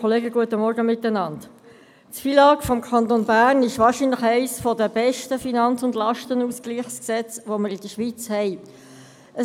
Das FILAG des Kantons Bern ist wahrscheinlich eines der besten Finanz- und Lastenausgleichsgesetze, das wir in der Schweiz haben.